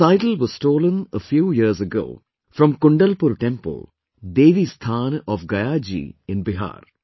This idol was stolen a few years ago from Kundalpur temple, Devi Sthan of Gaya ji in Bihar